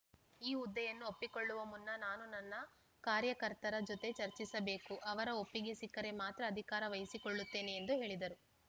ಈ ಹುದ್ದೆಯನ್ನು ಒಪ್ಪಿಕೊಳ್ಳುವ ಮುನ್ನ ನಾನು ನನ್ನ ಕಾರ್ಯಕರ್ತರ ಜೊತೆ ಚರ್ಚಿಸಬೇಕು ಅವರ ಒಪ್ಪಿಗೆ ಸಿಕ್ಕರೆ ಮಾತ್ರ ಅಧಿಕಾರ ವಹಿಸಿಕೊಳ್ಳುತ್ತೇನೆ ಎಂದು ಹೇಳಿದರು